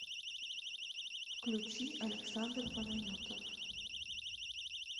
включи александр панайотов